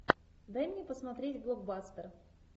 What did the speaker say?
дай мне посмотреть блокбастер